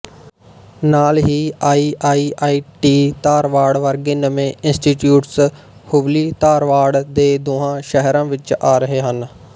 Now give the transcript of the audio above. ਨਾਲ ਹੀ ਆਈਆਈਆਈਟੀ ਧਾਰਵਾੜ ਵਰਗੇ ਨਵੇਂ ਇੰਸਟੀਚਿਊਟਸ ਹੁੱਬਲੀਧਾਰਵਾੜ ਦੇ ਦੋਹਾਂ ਸ਼ਹਿਰਾਂ ਵਿੱਚ ਆ ਰਹੇ ਹਨ